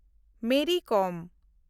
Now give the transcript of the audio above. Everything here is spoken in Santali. ᱢᱮᱨᱤ ᱠᱚᱢ